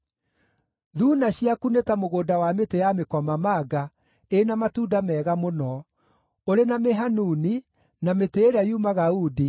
Thuuna ciaku nĩ ta mũgũnda wa mĩtĩ ya mĩkomamanga ĩ na matunda mega mũno, ũrĩ na mĩhanuni, na mĩtĩ ĩrĩa yumaga uundi,